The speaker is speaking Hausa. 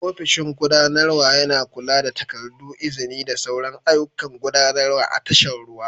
Ofishin gudanarwa yana kula da takardu, izini da sauran ayyukan gudanarwa a tashar ruwa.